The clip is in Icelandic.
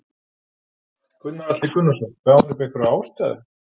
Gunnar Atli Gunnarsson: Gaf hann upp einhverja ástæðu?